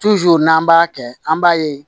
n'an b'a kɛ an b'a ye